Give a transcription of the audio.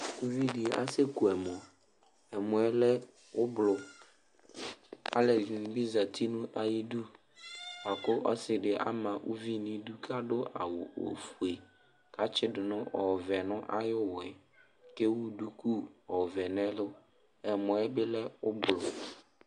Elevidi aseku ɛmɔ ɛmɔ lɛ ublu aluɛdini bi zati nu ayidu buaku ɔsidi ama uvi nu idu adu awu ofue katsidu ɔvɛ nayu uwɔ kewu duku ɔvɛ nu ɛlu ɛmɔ yɛbi lɛ ublu